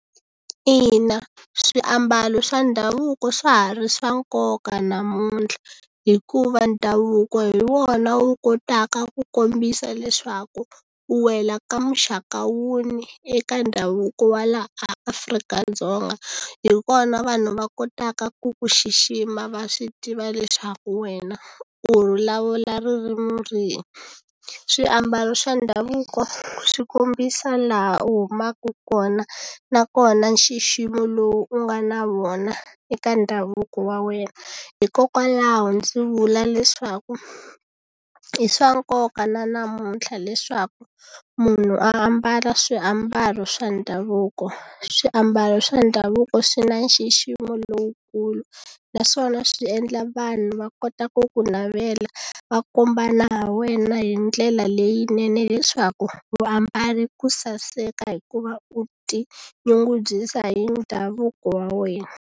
Ina swiambalo swa ndhavuko swa ha ri swa nkoka namuntlha hikuva ndhavuko hi wona wu kotaka ku kombisa leswaku u wela ka muxaka wuni eka ndhavuko wa laha a Afrika-Dzonga hikona vanhu va kotaka ku ku xixima va swi tiva leswaku wena u vulavula ririmi rihi swiambalo swa ndhavuko swi kombisa laha u humaku kona nakona nxiximo lowu u nga na wona eka ndhavuko wa wena hikokwalaho ndzi vula leswaku i swa nkoka na namuntlha leswaku munhu ambala swiambalo swa ndhavuko swiambalo swa ndhavuko swi na nxiximo lowukulu naswona swi endla vanhu va kota ku ku navela va kombana hi wena hi ndlela leyinene leswaku vaambale ku saseka hikuva u ti nyungubyisa hi ndhavuko wa wena.